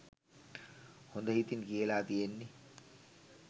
හොඳ හිතින් කියලා තියෙන්නෙ